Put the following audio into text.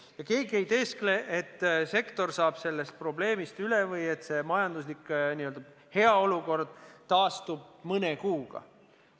Ja keegi ei tee nägu, et sektor saab nüüd oma probleemidest üle või et see majanduslik n-ö hea olukord taastub mõne kuuga.